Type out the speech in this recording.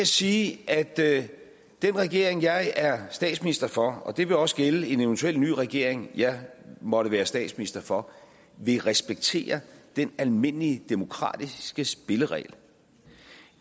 sige at den regering jeg er statsminister for og det vil også gælde en eventuel ny regering jeg måtte være statsminister for vil respektere den almindelige demokratiske spilleregel